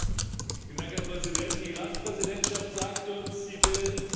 Herr Präsident! Die Ratspräsidentschaft sagte uns, sie will sich am